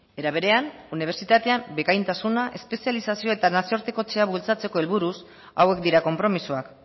era berean unibertsitatean bikaintasuna espezializazioa eta nazioartekotzea bultzatzeko helburuz hauek dira konpromisoak